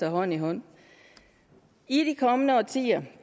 hånd i hånd i de kommende årtier